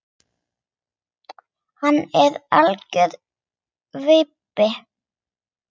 Hann er algjör vibbi.